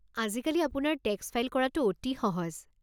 আজিকালি আপোনাৰ tax file কৰাটো অতি সহজ।